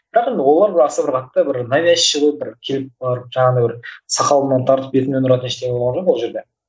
бірақ енді олар да аса бір қатты бір навязчий выбор келіп барып жаңағындай бір сақалымнан тартып бетімнен ұратын ештеңе болған жоқ ол жерде